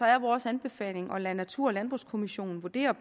er vores anbefaling at lade natur og landbrugskommissionen vurdere